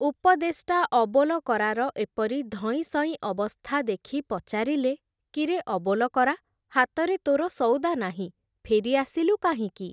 ଉପଦେଷ୍ଟା ଅବୋଲକରାର ଏପରି ଧଇଁ ସଇଁ ଅବସ୍ଥା ଦେଖି ପଚାରିଲେ, କିରେ ଅବୋଲକରା, ହାତରେ ତୋର ସଉଦା ନାହିଁ, ଫେରି ଆସିଲୁ କାହିଁକି ।